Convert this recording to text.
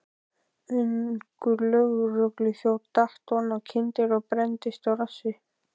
Ungur lögregluþjónn datt oná kyndil og brenndist á rassi.